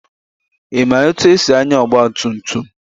Ị ma etu esi anya ọgba tum tum?